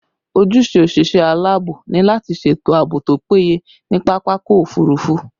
Ojúṣe òṣìṣẹ́ alaabo ni lati ṣètò àbò tó péye ní pápákọ̀ òfurufú